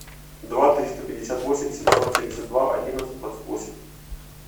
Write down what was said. два триста пятьдесят восемь семьсот семьдесят два одиннадцать двадцать восемь